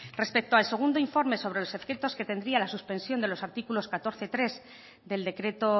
respecto al segundo informe sobre los efectos que tendría la suspensión de los artículos catorce punto tres del decreto